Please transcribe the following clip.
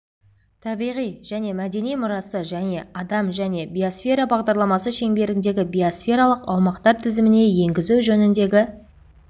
табиғи және мәдени мұрасы және адам және биосфера бағдарламасы шеңберіндегі биосфералық аумақтар тізіміне енгізу жөніндегі